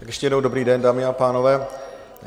Ještě jednou dobrý den, dámy a pánové.